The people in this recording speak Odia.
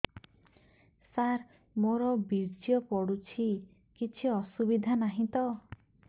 ସାର ମୋର ବୀର୍ଯ୍ୟ ପଡୁଛି କିଛି ଅସୁବିଧା ନାହିଁ ତ